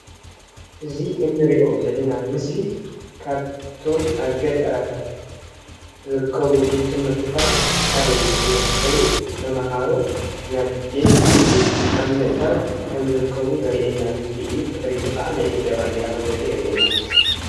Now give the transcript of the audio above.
እዚ እንርእዮ ዘለና ምስሊ ካብቶም ኣብ ገጠራታት ዝርከቡ ቤት-ትምህርትታት ሓደ ቤት-ትምህርቲ ኾይኑ ተማሃሮ ናብቲ ቤት-ትምህርቲ ኣብ ምእታው ከም ዝርከቡ ዘርእየና ምስሊ እዩ። ብድሕሪቱ ከዓ ናይ ኢትዮጵያ ባንዴራ ከም ዘሎ የርእየና።